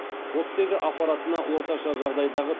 оттегі аппаратына орташа жағдайдағы